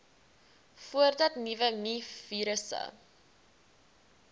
voordat nuwe mivirusse